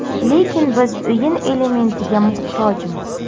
Lekin biz o‘yin elementiga muhtojmiz.